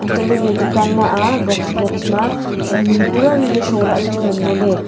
antoley iya dukan ma aa box box ma ni pura le sholaley chu ngan ngoley.